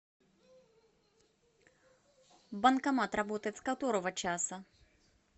банкомат работает с которого часа